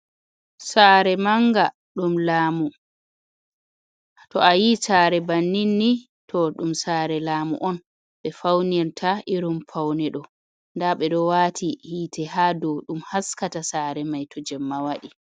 Saare manga ɗum lamu to ayi sare bannin ni to ɗum sare laamu on ɓe faunirta irin faune ɗo nda ɓeɗo wati hite ha dou ɗum haskata sare mai to jemma waɗi.